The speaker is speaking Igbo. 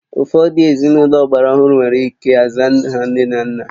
Ụfọdụ ezinụlọ ọgbara ọhụrụ nwere ike aza aha nne na nna